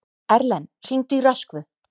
Erlen, hringdu í Röskvu.